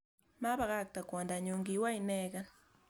Mabakakte kwondanyun kiwo ineken